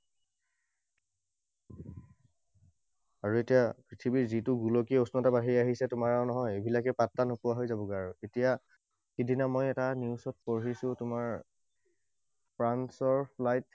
আৰু এতিয়া পৃথিৱীৰ যিটো গোলকীয় উষ্ণতা বাঢ়ি আহিছে তোমাৰ আৰু নহয়, এইবিলাকে পাত্তা নোপোৱা হৈ যাবগে আৰু। এতিয়া সিদিনা মই এটা news ত পঢ়িছোঁ মই তোমাৰ ফ্ৰান্সৰ flight